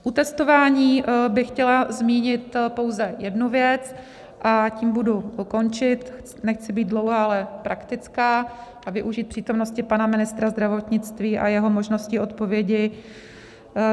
U testování bych chtěla zmínit pouze jednu věc, a tím budu končit, nechci být dlouhá, ale praktická a využít přítomnosti pana ministra zdravotnictví a jeho možností odpovědi.